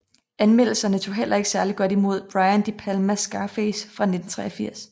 Anmelderne tog heller ikke særligt godt imod Brian De Palmas Scarface fra 1983